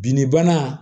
Binnibana